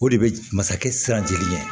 O de bɛ masakɛ siran jigin ɲɛ